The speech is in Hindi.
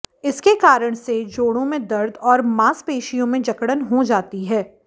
इसके कारण से जोड़ों में दर्द और मासपेशियों में जकड़न हो जाती है